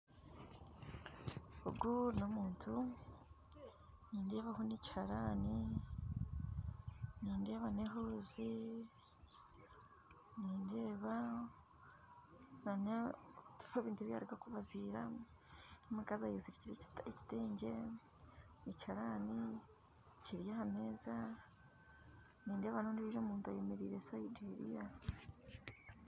Ogu n'omuntu nindeebaho n'ekiharani nindeeba n'ehuuzi nindeeba n'ebintu ebiyaruga kubaziira n'omukazi ayezirikire ekitengye ekiharani kiri aha meeza nindeeba n'ondijo omuntu ayemereire sayidi eriya